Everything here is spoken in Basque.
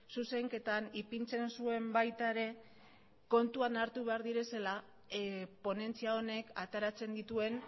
zuzenketan ipintzen zuen baita ere kontuan hartu behar direla ponentzia honek ateratzen dituen